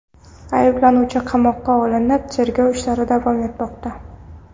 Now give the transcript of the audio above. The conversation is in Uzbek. Ayblanuvchi qamoqqa olinib, tergov ishlari davom etmoqda.